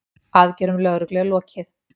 Aðgerðum lögreglu er lokið.